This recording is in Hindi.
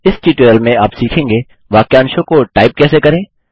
इस ट्यूटोरियल में आप सीखेंगे वाक्यांशों को टाइप कैसे करें